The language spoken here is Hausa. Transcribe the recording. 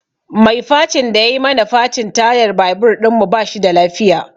Mai facin da yai mana facin tayar babur ɗinmu ba shi da lafiya